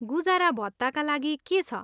गुजारा भत्ताका लागि के छ?